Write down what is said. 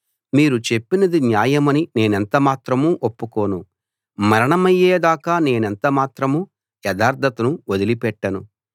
మీరు చెప్పినది న్యాయమని నేనెంత మాత్రం ఒప్పుకోను మరణమయ్యే దాకా నేనెంత మాత్రం యథార్థతను వదిలి పెట్టను